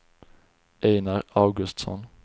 Einar Augustsson